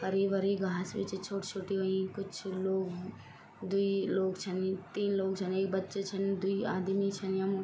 हरी भरी घास भी च छोटी छोटी हुईं कुछ लोग द्वि लोग छन तीन लोग छन एक बच्चा छन द्वि आदमी छन यम ।